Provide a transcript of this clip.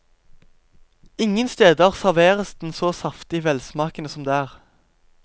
Ingen steder serveres den så saftig velsmakende som der.